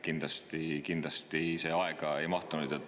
Nii et kindlasti see aega ei mahtunud.